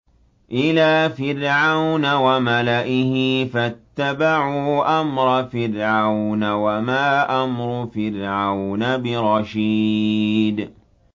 إِلَىٰ فِرْعَوْنَ وَمَلَئِهِ فَاتَّبَعُوا أَمْرَ فِرْعَوْنَ ۖ وَمَا أَمْرُ فِرْعَوْنَ بِرَشِيدٍ